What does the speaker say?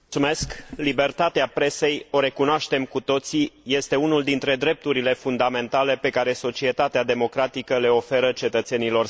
Libertatea presei o recunoaștem cu toții, este unul dintre drepturile fundamentale pe care societatea democratică le oferă cetățenilor săi.